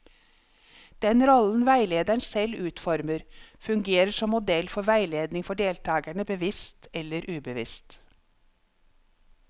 Den rollen veilederen selv utformer, fungerer som modell for veiledning for deltakerne, bevisst eller ubevisst.